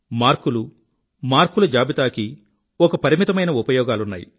మార్కులు మార్కుల జాబితా కి ఒక పరిమితమైన ఉపయోగాలున్నయి